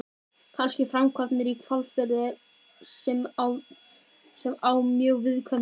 Kannski framkvæmdirnar í Hvalfirði sem eru á mjög viðkvæmu stigi.